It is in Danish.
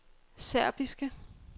serbiske